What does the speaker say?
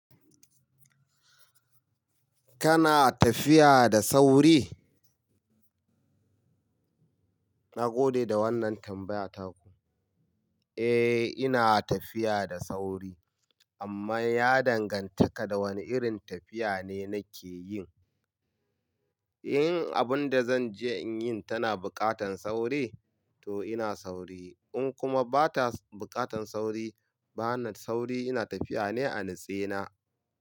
Kana tafiya da sauri? Na gode da wannan tambayata ku. Eh, ina tafiya da sauri. Amma ya dangantaka da wane irin tafiya ne nake yi. In abun da zan je in yin tana buƙatar sauri, to ina sauri. In kuma bata buƙatar sauri, bana sauri, ina tafiya ne a natsena.